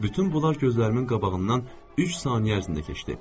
Bütün bunlar gözlərimin qabağından üç saniyə ərzində keçdi.